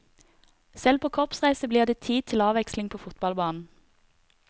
Selv på korpsreise blir det tid til avveksling på fotballbanen.